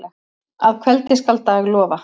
Að kveldi skal dag lofa.